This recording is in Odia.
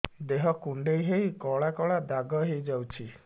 ଦେହ କୁଣ୍ଡେଇ ହେଇ କଳା କଳା ଦାଗ ହେଇଯାଉଛି